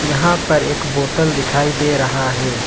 यहां पर एक बोतल दिखाई दे रहा है।